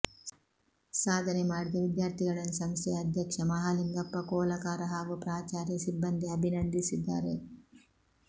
ಸಾಧನೆ ಮಾಡಿದ ವಿದ್ಯಾರ್ಥಿಗಳನ್ನು ಸಂಸ್ಥೆಯ ಅಧ್ಯಕ್ಷ ಮಹಾಲಿಂಗಪ್ಪ ಕೋಲಕಾರ ಹಾಗೂ ಪ್ರಾಚಾರ್ಯ ಸಿಬ್ಬಂದಿ ಅಭಿನಂದಿಸಿದ್ದಾರೆ